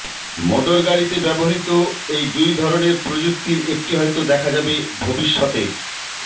মোটরগাড়িতে ব্যবহৃত এই দুই ধরনের প্রযুক্তির একটি হয়তো দেখা যাবে ভবিষ্যতের